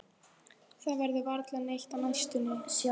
Það verður varla neitt á næstunni.